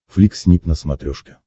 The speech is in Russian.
флик снип на смотрешке